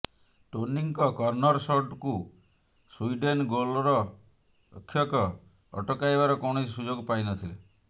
ଟୋନିଙ୍କ corner ସଟ୍କୁ Sweden ଗୋଲ୍ରକ୍ଷକ ଅଟକାଇବାର କୌଣସି ସୁଯୋଗ ପାଇନଥିଲେ